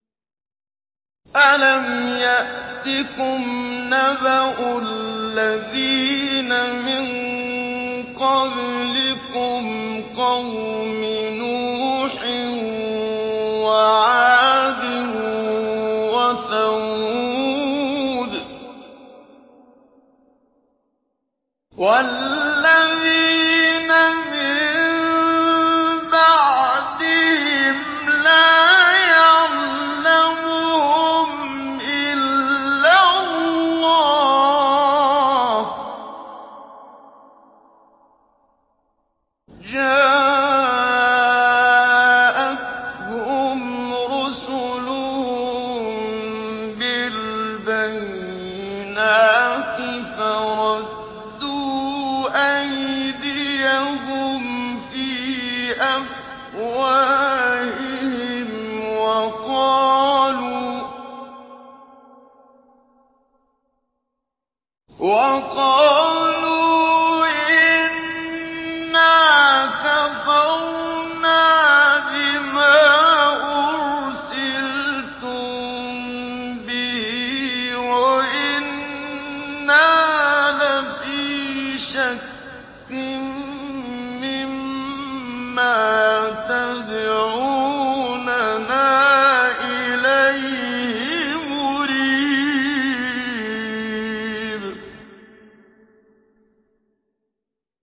أَلَمْ يَأْتِكُمْ نَبَأُ الَّذِينَ مِن قَبْلِكُمْ قَوْمِ نُوحٍ وَعَادٍ وَثَمُودَ ۛ وَالَّذِينَ مِن بَعْدِهِمْ ۛ لَا يَعْلَمُهُمْ إِلَّا اللَّهُ ۚ جَاءَتْهُمْ رُسُلُهُم بِالْبَيِّنَاتِ فَرَدُّوا أَيْدِيَهُمْ فِي أَفْوَاهِهِمْ وَقَالُوا إِنَّا كَفَرْنَا بِمَا أُرْسِلْتُم بِهِ وَإِنَّا لَفِي شَكٍّ مِّمَّا تَدْعُونَنَا إِلَيْهِ مُرِيبٍ